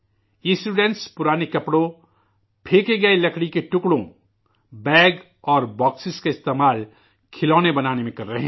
یہ طلباء پرانے کپڑوں، پھینکے گئے لکڑی کے ٹکڑوں، بیگ اور بکس کا استعمال کھلونے بنانے میں کر رہے ہیں